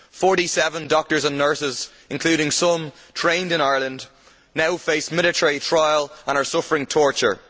Forty seven doctors and nurses, including some trained in Ireland, now face military trial and are suffering torture.